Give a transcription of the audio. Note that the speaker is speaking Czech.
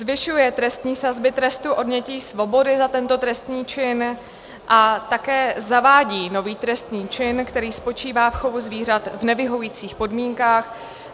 Zvyšuje trestní sazby trestu odnětí svobody za tento trestný čin a také zavádí nový trestný čin, který spočívá v chovu zvířat v nevyhovujících podmínkách.